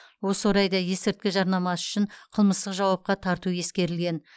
осы орайда есірткі жарнамасы үшін қылмыстық жауапқа тарту ескерілген